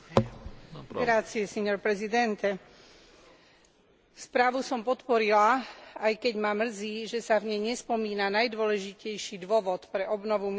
Správu som podporila, aj keď ma mrzí, že sa v nej nespomína najdôležitejší dôvod pre obnovu miest, ktorým je rodina a medzigeneračná spravodlivosť.